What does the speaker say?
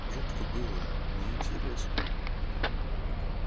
жутко было но и интересно